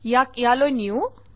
ইয়াক ইয়ালৈ নিওঁ